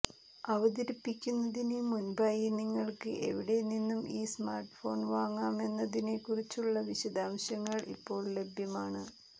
അവതരിപ്പിക്കുന്നതിന് മുൻപായി നിങ്ങൾക്ക് എവിടെ നിന്നും ഈ സ്മാർട്ഫോൺ വാങ്ങാമെന്നതിനെക്കുറിച്ചുള്ള വിശദാംശങ്ങൾ ഇപ്പോൾ ലഭ്യമാണ്